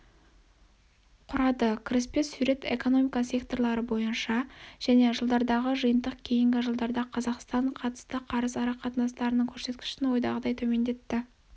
құрады кіріспе сурет экономика секторлары бойынша және жылдардағы жиынтық кейінгі жылдарда қазақстан қатысты қарыз арақатынастарының көрсеткішін ойдағыдай төмендетті